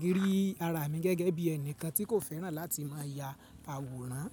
gírí ara mi gẹ́gẹ́ bí ẹnìkan tí kò féràn láti máa ya àwòrán.